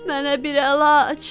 Mənə bir əlac!"